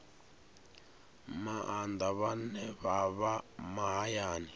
maanḓa vhane vha vha mahayani